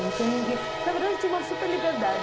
Não tinha ninguém... Na verdade, eu tinha uma super liberdade.